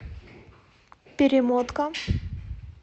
перемотка